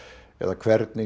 eða hvernig